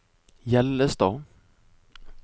Hjellestad